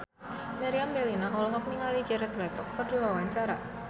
Meriam Bellina olohok ningali Jared Leto keur diwawancara